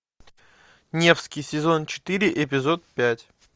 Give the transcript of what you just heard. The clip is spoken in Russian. невский сезон четыре эпизод пять